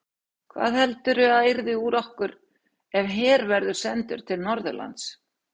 Hvað heldurðu að yrði úr okkur ef her verður sendur til Norðurlands?